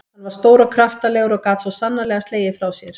Hann var stór og kraftalegur og gat svo sannarlega slegið frá sér.